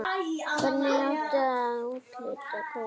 Hvernig átti að úthluta kvótum?